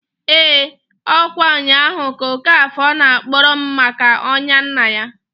EEǃ Ọ̣kwa nnyaahu ka Okafor na-akọrọ m maka ọya nna ya.